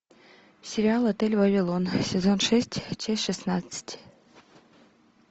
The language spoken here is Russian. сериал отель вавилон сезон шесть часть шестнадцать